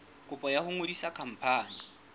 kopo ya ho ngodisa khampani